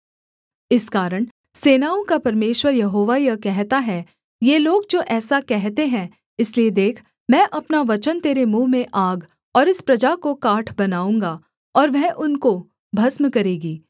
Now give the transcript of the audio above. इस कारण सेनाओं का परमेश्वर यहोवा यह कहता है ये लोग जो ऐसा कहते हैं इसलिए देख मैं अपना वचन तेरे मुँह में आग और इस प्रजा को काठ बनाऊँगा और वह उनको भस्म करेगी